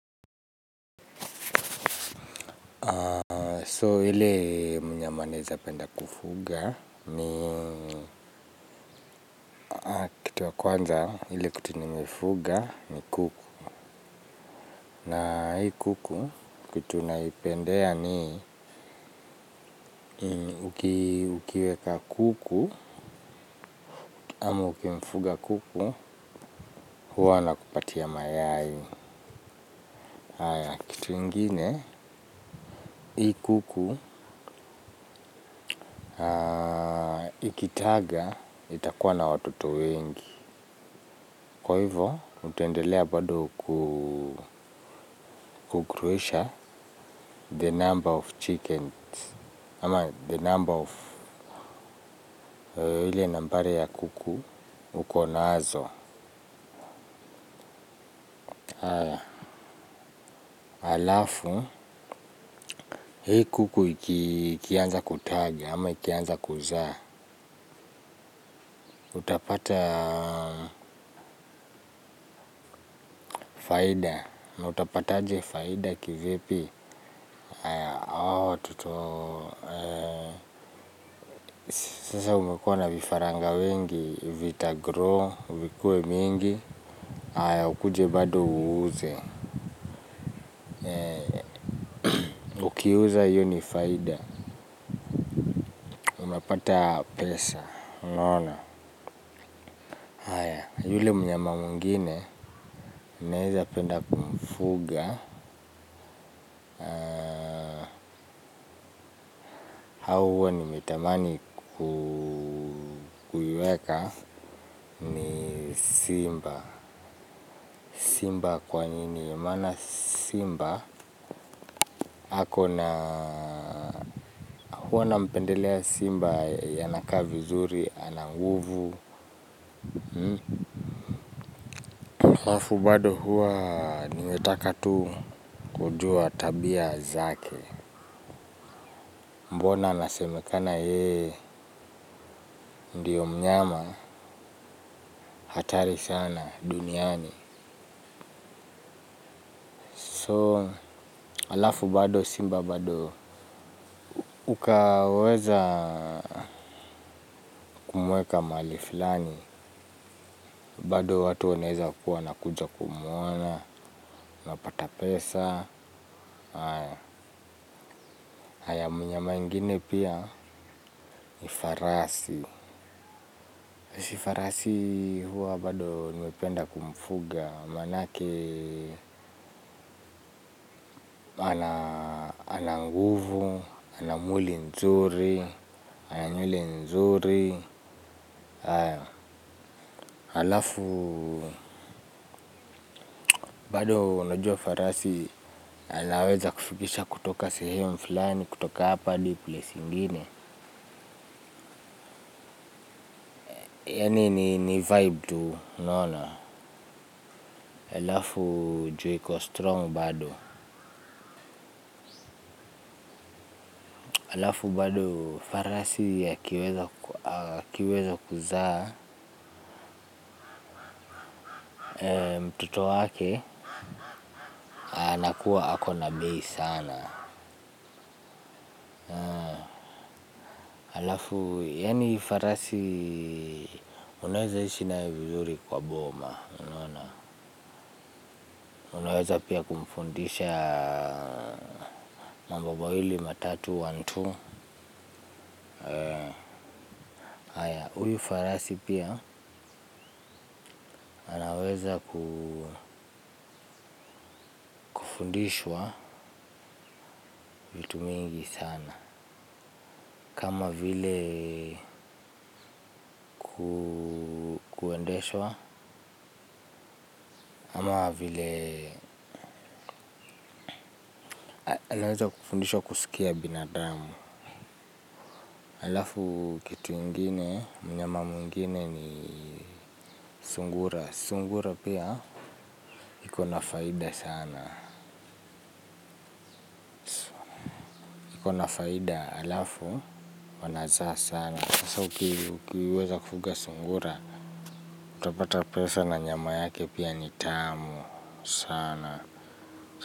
So ile mnyama naeza penda kufuga ni kitu ya kwanza ile kitu nimefuga ni kuku. Na hii kuku kitu naipendea ni ukiweka kuku ama ukimfuga kuku huwa anakupatia mayai. Kitu ingine hii kuku ikitaga itakuwa na watoto wengi. Kwa hivyo, utaendelea bado kugroisha the number of chickens. Ama the number of ile nambari ya kuku uko nazo. Alafu, hii kuku ikianza kutaga ama ikianza kuzaa utapata faida, utapataje faida kivipi. Sasa umekuwa na vifaranga wengi, vitagrow, vikuwe mingi. Ukuje bado uuze. Ukiuza hiyo ni faida. Unapata pesa unaona. Yule mnyama mwingine naeza penda kumfuga. Hao huwa nimetamani kuiweka simba. Simba kwa nini? Maana simba ako na huwa nampendelea simba anakaa vizuri, ana nguvu. Halafu bado huwa nimetaka tu kujua tabia zake. Mbona anasemekana yeye ndiyo mnyama hatari sana duniani So halafu bado simba bado ukaweza mweka mahali fulani. Bado watu wanaeza kuwa wanakuja kumwona, unapata pesa, haya mnyama ingine pia ni farasi. Si farasi huwa bado nimependa kumfuga, manake ana nguvu, ana mwili mzuri, ana nywele nzuri. Halafu bado najua farasi, anaweza kufikisha kutoka sehemu fulani, kutoka hapa hadi, place ingine. Yani ni vibe tu, unaona, halafu ju iko strong bado, alafu bado farasi akiweza kuzaa mtoto wake, anakuwa ako na bei sana, halafu, yani farasi, unaweza ishi nayo vizuri kwa boma, unaona, unaweza pia kumfundisha mambo mawili matatu one two, haya huyu farasi pia anaweza kufundishwa vitu mingi sana kama vile kuendeshwa ama vile anaweza kufundishwa kusikia binadamu halafu kitu ingine mnyama mwingine ni sungura. Sungura pia iko na faida sana. Ikona faida halafu wanazaa sana. Sasa ukiweza kufuga sungura utapata pesa na nyama yake pia ni tamu sana.